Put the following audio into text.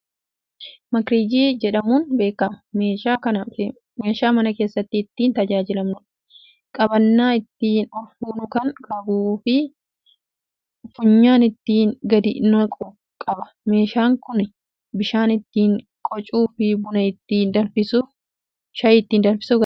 Makrajjii jedhamuun beekama. meeshaa mana keessatti ittiin tajaajilamnuudha. qabannaa ittiin olfuunu Kan qabuufi funyaan ittiin gadi naqu qaba. meeshaan Kuni bishaan ittiin qicuuf, buna ittiin danfisuuf, shaayii ittiin danfisuuf akkasumas taajaajiloota Kan fakkaatan kennuuf oola.